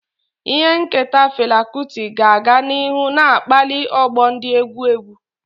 Ihe nketa Fela Kuti ga-aga n'ihu na-akpali ọgbọ ndị egwu egwu.